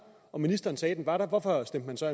og ministeren sagde at den var der hvorfor stemte man så